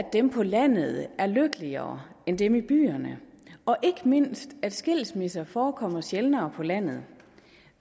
dem på landet er lykkeligere end dem i byerne og ikke mindst at skilsmisser forekommer sjældnere på landet